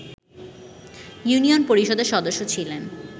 union পরিষদের সদস্য ছিলেন